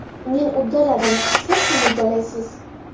Men uddaladim, siz ham uddalaysiz!